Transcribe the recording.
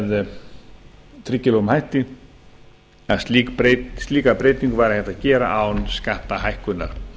með tryggilegum hætti að slíka breytingu væri hægt að gera án skattahækkunar